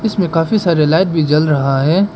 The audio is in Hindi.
इसमें काफी सारे लाइट भी जल रहा है।